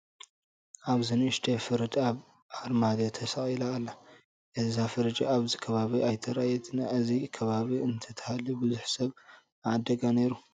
ኣብዚ ንኡሽተይ ፍርድ ኣብ ኣርማድዮ ተሰቒላ ትርአ ኣላ፡፡ እዛ ፍርጅ ኣብዚ ከባቢ ኣይተራእየትን፡፡ ኣብዚ ከባቢ እንተትህሉ ብዙሕ ሰብ ምዓደጋ ነይሩ፡፡